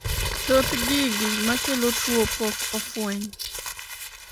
thoth gigi makelo tuo pok ofweny